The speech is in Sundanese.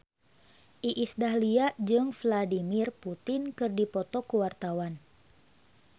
Iis Dahlia jeung Vladimir Putin keur dipoto ku wartawan